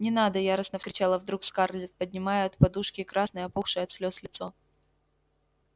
не надо яростно кричала вдруг скарлетт поднимая от подушки красное опухшее от слез лицо